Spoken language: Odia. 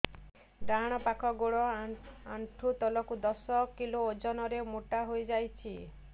ଡାହାଣ ପାଖ ଗୋଡ଼ ଆଣ୍ଠୁ ତଳକୁ ଦଶ କିଲ ଓଜନ ର ମୋଟା ହେଇଯାଇଛି